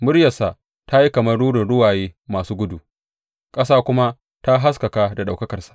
Muryarsa ta yi kamar rurin ruwaye masu gudu, ƙasa kuma ta haskaka da ɗaukakarsa.